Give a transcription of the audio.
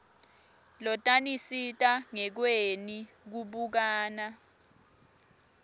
lotanisita ngekweni kubukana